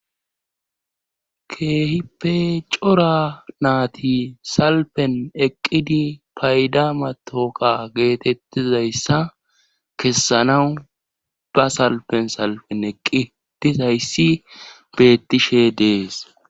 keehippe cora naati salpen eqqidi payda matoka geetettizayssa kessanawu ba salpen salpen eqqitizayssi beettishe dees